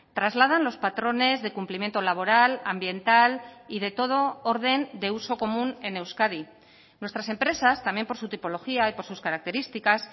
trasladan los patrones de cumplimiento laboral ambiental y de todo orden de uso común en euskadi nuestras empresas también por su tipología y por sus características